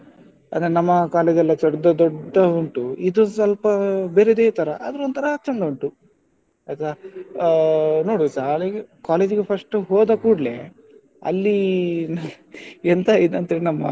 ಅಂದ್ರೆ ನಮ್ಮ college ಎಲ್ಲ ದೊಡ್ಡ ದೊಡ್ಡದು ಉಂಟು ಇದು ಸ್ವಲ್ಪ ಬೇರೆದೆ ತರ ಆದ್ರೆ ಒಂತರ ಚಂದ ಉಂಟು ಆಯ್ತಾ ಆ ನೋಡ್ವ ಶಾಲೆಗೇ college ಗೆ first ಗೆ ಹೋದಕೂಡ್ಲೇ ಅಲ್ಲಿ ಈ ಎಂತ ಇದಂದ್ರೆ ನಮ್ಮ,